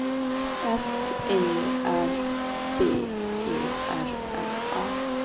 S E R B E R N A